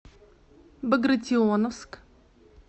багратионовск